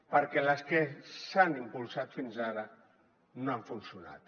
perquè les que s’han impulsat fins ara no han funcionat